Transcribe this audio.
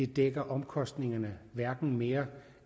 dække omkostningerne hverken mere